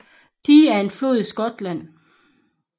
Dee er en flod i Skotland